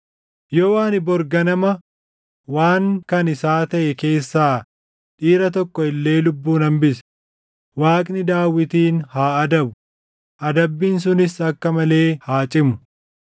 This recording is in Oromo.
Yoo ani bori ganama waan kan isaa taʼe keessaa dhiira tokko illee lubbuun hambise, Waaqni Daawitin haa adabu; adabbiin sunis akka malee haa cimu!”